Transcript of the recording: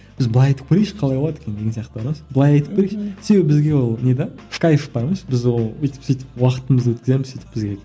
біз былай айтып көрейікші қалай болады екен деген сияқты да былай айтып көрейікші себебі бізге ол не де в кайф бар ғой біз ол өйтіп сөйтіп уақытымызды өткіземіз сөйтіп бізге